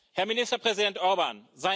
Herr Ministerpräsident Orbán!